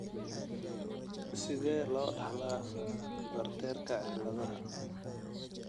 Sidee loo dhaxlaa Bartterka ciladaha?